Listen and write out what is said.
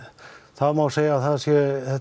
það má segja að þetta sé